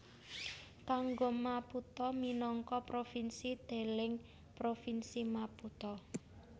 Kanggo Maputo minangka provinsi deleng Provinsi Maputo